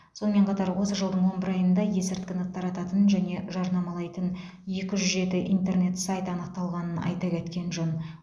сонымен қатар осы жылдың он бір айында есірткіні тарататын және жарнамалайтын екі жүз жеті интернет сайт анықталғанын айта кеткен жөн